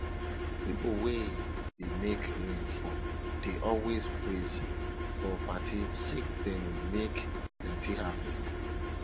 pipo wey dey make rain fall dey always praise for party sake dem make plenti harvest